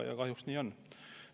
Kahjuks nii on.